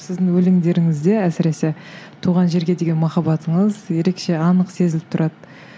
сіздің өлеңдеріңізде әсіресе туған жерге деген махаббатыңыз ерекше анық сезіліп тұрады